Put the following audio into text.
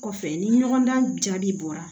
Kɔfɛ ni ɲɔgɔndan jaabi bɔra